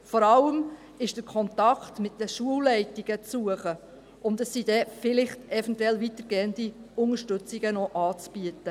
Vor allem ist der Kontakt mit den Schulleitungen zu suchen, und eventuell sind dann noch weitergehende Unterstützungen anzubieten.